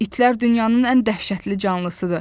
İtlər dünyanın ən dəhşətli canlısıdır.